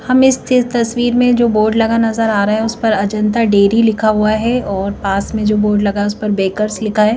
हम इस तस्वीर में जो बोर्ड लगा नजर आ रहा है उस पर अजंता डेरी लिखा हुआ है और पास में जो बोर्ड लगा है उस पर बेकर्स लिखा है।